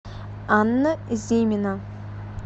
анна зимина